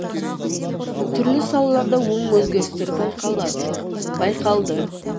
түрлі салаларда оң өзгерістер байқалды